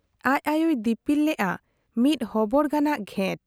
ᱟᱡ ᱟᱭᱳᱭ ᱫᱤᱯᱤᱞ ᱞᱮᱜ ᱟ ᱢᱤᱫ ᱦᱚᱵᱚᱨ ᱜᱟᱱᱟᱜ ᱜᱷᱮᱴ ᱾